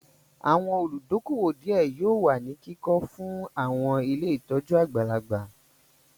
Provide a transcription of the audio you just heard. Àwọn olùdókóówò díẹ̀ yóò wà ní kíkọ fún àwọn ilé ìtọ́jú àgbàlagbà